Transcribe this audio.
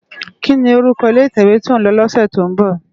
Kini órúkò ilé itèwé tó n lò lòsè tó n bò?